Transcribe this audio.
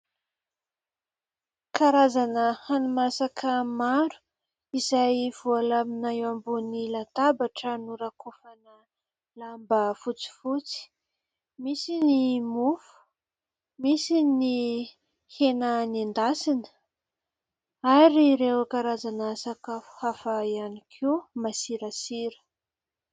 Karazana hani-masaka maro izay voalamina eo ambony latabatra norakofana lamba fotsifotsy. Misy ny mofo, misy ny hena nendasina, ary ireo karazana sakafo hafa ihany koa, masirasira.